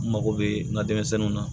N mago bɛ n ka denmisɛnninw na